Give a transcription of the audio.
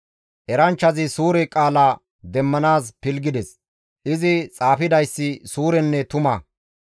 Eranchchazi suure qaala demmanaas pilggides; izi xaafidayssi suurenne tuma.